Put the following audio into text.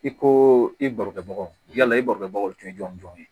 I ko i barokɛbagaw yala i barokɛbaw tun ye jɔn jɔn ye